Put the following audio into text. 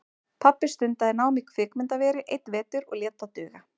Pabbi stundaði nám í kvikmyndaveri einn vetur og lét það duga.